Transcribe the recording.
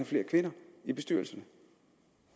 flere kvinder i bestyrelserne